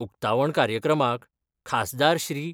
उक्तावण कार्यक्रमाक खासदार श्री.